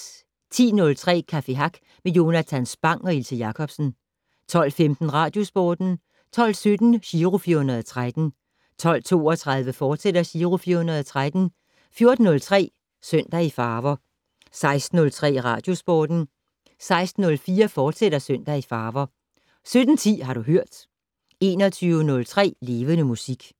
10:03: Café Hack med Jonathan Spang og Ilse Jacobsen 12:15: Radiosporten 12:17: Giro 413 12:32: Giro 413, fortsat 14:03: Søndag i farver 16:03: Radiosporten 16:04: Søndag i farver, fortsat 17:10: Har du hørt 21:03: Levende Musik